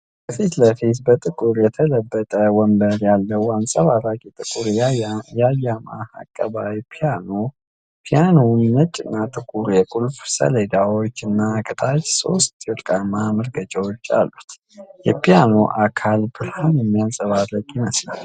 ከፊት ለፊት በጥቁር የተለበጠ ወንበር ያለው አንጸባራቂ ጥቁር የያማሃ አቀባዊ ፒያኖ ። ፒያኖው ነጭና ጥቁር የቁልፍ ሰሌዳዎች እና ከታች ሶስት ወርቃማ መርገጫዎች አሉት። የፒያኖው አካል ብርሃንን የሚያንፀባርቅ ይመስላል።